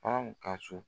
Anw ka so